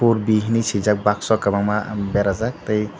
purbi hinui sijak bakso kobangma berajak tei.